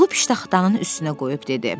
Pulu piştaxtanın üstünə qoyub dedi: